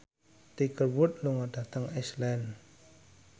Tiger Wood lunga dhateng Iceland